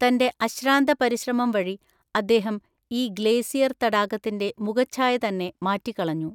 തന്റെ അശ്രാന്ത പരിശ്രമം വഴി അദ്ദേഹം ഈ ഗ്ലേസിയർ തടാകത്തിന്റെ മുഖഛായതന്നെ മാറ്റിക്കളഞ്ഞു.